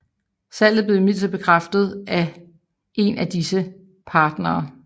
Salget blev imidlertid afkræftet af en af disse partnere